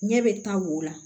Ɲɛ bɛ taa wo la